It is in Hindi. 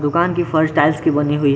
दुकान की फर्श टाइल्स की बनी हुई है।